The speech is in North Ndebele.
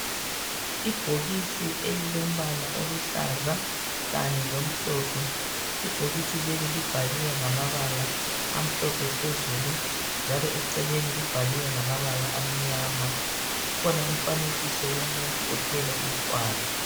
Ibhokisi elilombala oluhlaza kanye lomhlophe, ibhokisi leli libhaliwe ngamabala amhlophe phezulu, njalo eceleni libhaliwe ngamabala amnyama, kukhona umfanekiso womuntu othwele umntwana.